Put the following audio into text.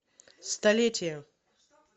столетие